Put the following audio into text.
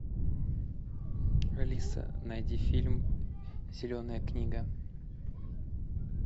алиса найди фильм зеленая книга